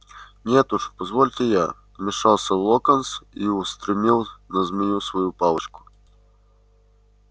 нет уж позвольте я вмешался локонс и устремил на змею свою палочку